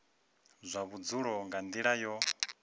zwa vhudzulo nga nila yo